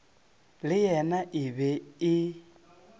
le yena e be e